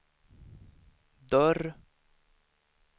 dörr